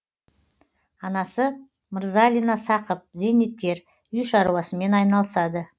анасы мырзалина сақып зейнеткер үй шаруасымен айналысады